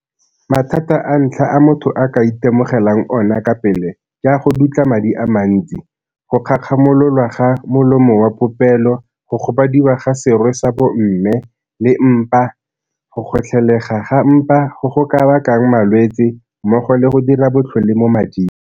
Mathata a ntlha a motho a ka itemogelang ona ka pele ke a go dutla madi a mantsi, go kgakgamololwa ga molomo wa popelo, go gobadiwa ga serwe sa bomme le mpa, go kgotlhelega ga mpa go go ka bakang malwetse mmogo le go dira botlhole mo mading.